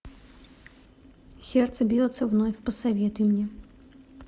сердце бьется вновь посоветуй мне